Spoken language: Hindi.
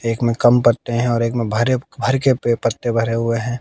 एक में कम पत्ते हैं और एक में भरे भर के पत्ते भरे हुए हैं।